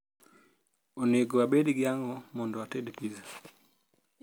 onego abedgi ango mondo ated pizza